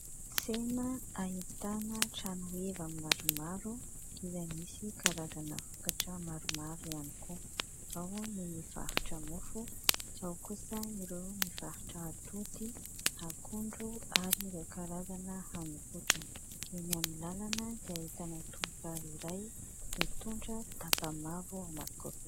Tsena ahitana trano heva maromaro izay misy karazana vokatra maromaro ihany koa ; ao ny mivarotra mofo, ao kosa ireo mivarotra atody, akondro ary ireo karazana haninkotrana. Eny amin'ny lalana dia ahitana tovovavy iray mitondra daba mavo anankiroa.